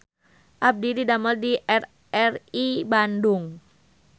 Abdi didamel di RRI Bandung